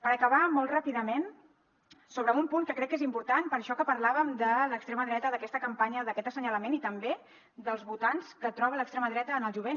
per acabar molt ràpidament sobre un punt que crec que és important per això que parlàvem de l’extrema dreta d’aquesta campanya d’aquest assenyalament i també dels votants que troba l’extrema dreta en el jovent